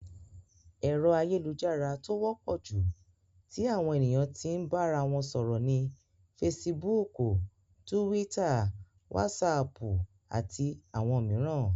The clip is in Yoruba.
Ẹ̀rọ ayélujára tó wọ́pọ̀ jù tí àwọn ènìyàn tí n bára wọn sọ̀rọ̀ ni Fesibúùkù, Túwítà, Wásaàpù, àti àwọn mìíràn.